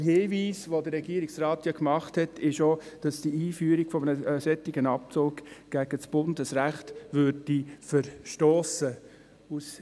Der Hinweis des Regierungsrates zeigt zudem, dass die Einführung eines solchen Abzugs gegen Bundesrecht verstossen würde.